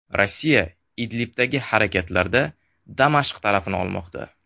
Rossiya Idlibdagi harakatlarda Damashq tarafini olmoqda.